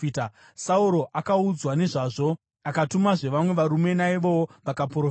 Sauro akaudzwa nezvazvo, akatumazve vamwe varume, naivowo vakaprofita.